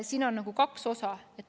Siin on nagu kaks osa.